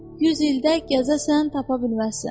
Yüz ildə gəzəsən, tapa bilməzsən.